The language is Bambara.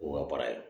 K'o ka baara ye